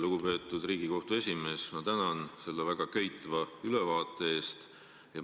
Lugupeetud Riigikohtu esimees, ma tänan selle väga köitva ülevaate eest!